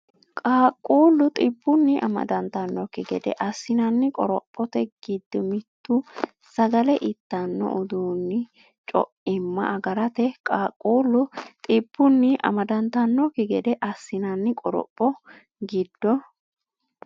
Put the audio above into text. Qaaqquullu dhibbunni amadantannokki gede assinanni qoropho gid- mittu sagale ittanno udiinni co’imma agarate Qaaqquullu dhibbunni amadantannokki gede assinanni qoropho gid-.